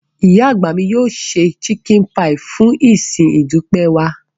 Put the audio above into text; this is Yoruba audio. Ìyá àgbà mi yóò se chicken pie fún ìsìn ìdúpẹ́ wa.